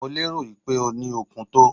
Mo lérò pé o ní okun tó.